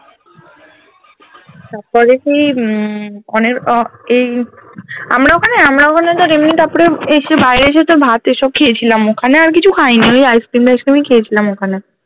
তারপরে কি হম আমরা ওখানে আমরা ওখানে তো এসে বাইরে এসে ভাত এসব খেয়েছিলাম ওখানে আর কিছু খাই নি রে ice cream তাইস cream খেয়েছিলাম ওখানে